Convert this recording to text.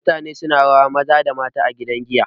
mutane suna rawa Maza da mata a gidan giya